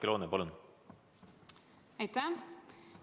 Aitäh!